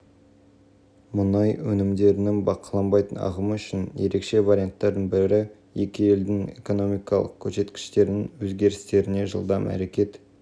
мұнайды темір жолмен тасымалдау жөніндегі тарифтердің әсері де талқыланды қауымдастығының пікірінше қазақстан мен ресей арасындағы